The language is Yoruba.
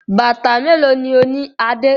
Bàtà mélòó ni ó ní Adé?